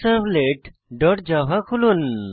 checkoutservletজাভা খুলুন